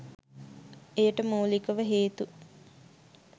එයට මුලිකව හේතු